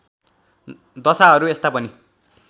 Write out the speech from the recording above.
दशाहरू यस्ता पनि